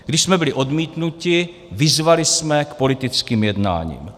Když jsme byli odmítnuti, vyzvali jsme k politickým jednáním.